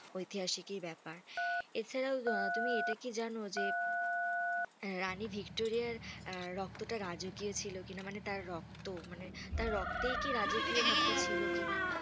ঐতিহাসিক ব্যাপার, এছাড়াও তুমি ইটা কি জানো যে রানী ভিক্টোরিয়ার রক্তটা রাজকীয় ছিল কি না মানে তার রক্ত মানে তার রক্তেই কি রাজকীয় ভাবতা ছিল কি না?